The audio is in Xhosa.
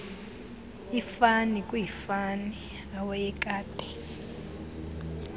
ifani kwiifani awayekade